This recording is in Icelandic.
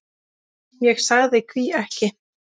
Ég sagði: Hví ekki?